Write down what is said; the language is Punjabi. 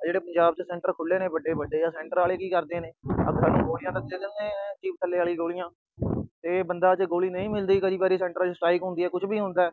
ਆ ਜਿਹੜੇ ਪੰਜਾਬ ਚ center ਖੁੱਲੇ ਨੇ ਵੱਡੇ-ਵੱਡੇ, ਆ center ਆਲੇ ਕੀ ਕਰਦੇ ਨੇ, ਸਾਨੂੰ ਗੋਲੀਆਂ ਤਾਂ ਦੇ ਦਿੰਦੇ ਆ, ਵਾਲੀ ਗੋਲੀਆਂ ਤੇ ਗੋਲੀ ਜੇ ਨਹੀਂ ਮਿਲਦੀ ਕਦੇ ਵੀ, center ਚ strike ਹੁੰਦੀ ਆ, ਕੁਛ ਵੀ ਹੁੰਦਾ।